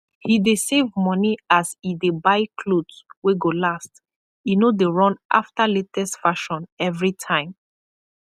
he dey save moni as e dey buy kloth wey go last e nor dey run afta lates fashion evrytime